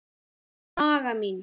Í maga mín